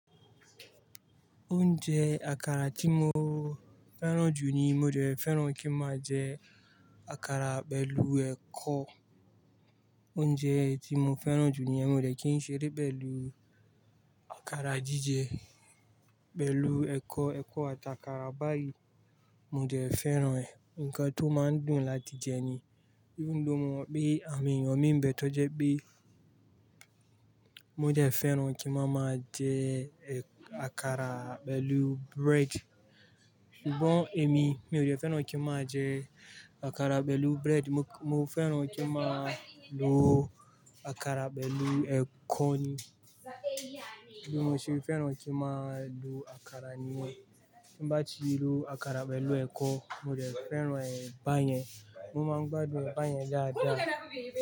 Oúnjẹ àkàrà tí mo fẹ́ràn jù ni mo dẹ̀ fẹ́ràn kí máa jẹ àkàrà pẹ̀lú ẹ̀kọ. Oúnjẹ tí mo fẹ́ràn jù ni mo dẹ̀ kí n ṣeré pẹ̀lú àkàrà jíjẹ pẹ̀lú ẹ̀kọ, ẹ̀kọ ata kàrà báyìí mo dẹ̀ fẹ́ràn ẹ̀. Ǹnkan tó máa ń dùn láti jẹ ni. Even though mo mọ̀ pé àwon èèyàn mi ń bẹ̀ tó jẹ́ pé mo dẹ̀ fẹ́ràn kí máa máa jẹ àkàrà pẹ̀lú bread. Sugbon èmi, mi ò dẹ̀ fẹ́ràn kí n máa jẹ àkàrà pẹ̀lú bread. Mo fẹ́ràn kí máa lo àkàrà pẹ̀lú ẹ̀kọ ni. Bí mo ṣe fẹ́ràn kí máa lo àkàrà ni yen mbá ti lo àkàrà pẹ̀lú ẹ̀kọ, mo dẹ̀ fẹ́ràn ẹ̀ ba yẹn. Mo máa ń gbádùn ẹ̀ ba yẹn dáadáa.